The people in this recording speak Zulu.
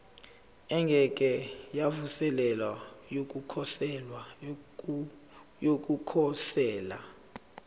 engeke yavuselelwa yokukhosela